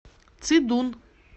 цидун